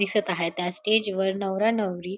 दिसत आहे त्या स्टेजवर नवरा नवरी--